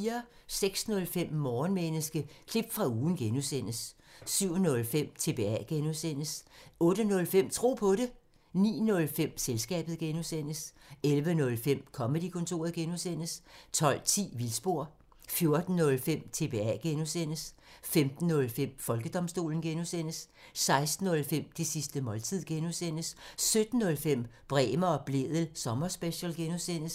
06:05: Morgenmenneske – klip fra ugen (G) 07:05: TBA (G) 08:05: Tro på det 09:05: Selskabet (G) 11:05: Comedy-kontoret (G) 12:10: Vildspor 14:05: TBA (G) 15:05: Folkedomstolen (G) 16:05: Det sidste måltid (G) 17:05: Bremer og Blædel sommerspecial (G)